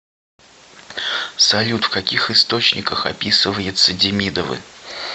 салют в каких источниках описывается демидовы